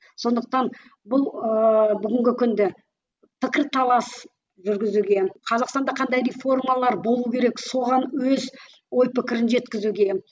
сондықтан бұл ыыы бүгінгі күнді пікірталас жүргізуге қазақстанда қандай реформалар болу керек соған өз ой пікірін жеткізуге